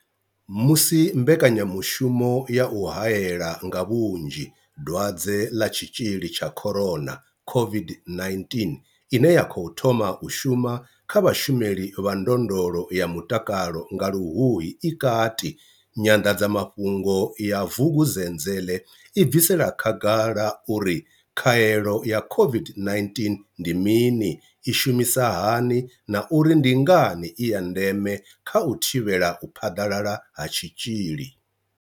Musi mbekanya mushumo ya u hae la nga vhunzhi Dwadze ḽa Tshitzhili tsha corona COVID-19 ine ya khou thoma u shuma kha vhashumeli vha ndondolo ya mutakalo nga Luhuhi i kati, Nyanḓadza mafhungo ya Vukuzenzele i bvisela khagala uri khaelo ya COVID-19 ndi mini, i shumisa hani na uri ndi ngani i ya ndeme kha u thivhela u phaḓalala ha tshitzhili.